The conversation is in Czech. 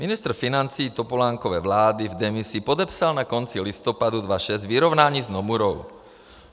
Ministr financí Topolánkovy vlády v demisi podepsal na konci listopadu 2006 vyrovnání s Nomurou.